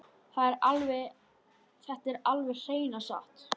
Þetta er alveg hreina satt!